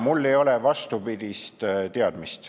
Mul ei ole vastupidist teadmist.